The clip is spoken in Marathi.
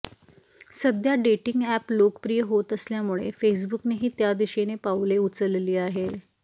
सध्या डेटिंग अॅप लोकप्रिय होत असल्यामुळे फेसबुकनेही त्या दिशेने पाऊले उचलली आहे